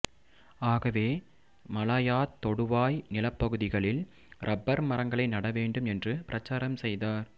ஆகவே மலாயாத் தொடுவாய் நிலப்பகுதிகளில் ரப்பர் மரங்களை நட வேண்டும் என்று பிரசாரம் செய்தார்